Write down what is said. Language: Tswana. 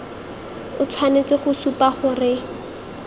o tshwanetse go supa gore